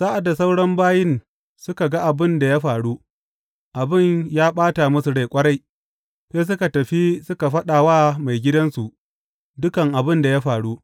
Sa’ad da sauran bayin suka ga abin da ya faru, abin ya ɓata musu rai ƙwarai, sai suka tafi suka faɗa wa maigidansu dukan abin da ya faru.